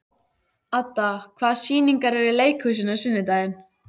Adda, hvaða sýningar eru í leikhúsinu á sunnudaginn?